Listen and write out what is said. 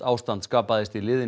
ástand skapaðist í liðinni